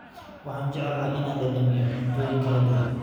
Waxaan jecelnahay inaan dhadhaminno cuntooyin kala duwan.